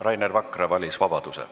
Rainer Vakra valis vabaduse.